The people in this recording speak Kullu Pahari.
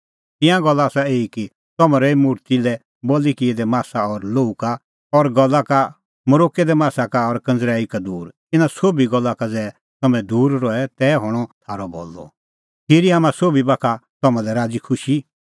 तिंयां गल्ला आसा एही कि तम्हैं रहै मुर्ति लै बल़ी किऐ दै मासा और लोहू का और गल़ा का मरोक्कै दै मासा का और कंज़रैई का दूर इना सोभी गल्ला का ज़ै तम्हैं दूर रहे तै हणअ थारअ भलअ खिरी हाम्हां सोभी बाखा तम्हां लै राज़ीखुशी